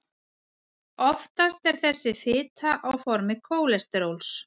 oftast er þessi fita á formi kólesteróls